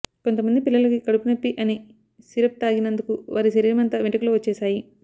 కొంతమంది పిల్లలకి కడుపునొప్పి అని సిరప్ తాగినందుకు వారి శరీరమంతా వెంట్రుకలు వచ్చేశాయి